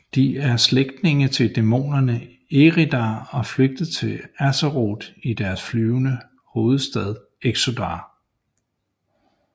De er slægtninge til dæmonerne Eredar og er flygtet til Azeroth i deres flyvende hovedstad Exodar